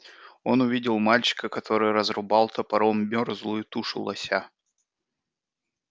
он увидел мальчика который разрубал топором мёрзлую тушу лося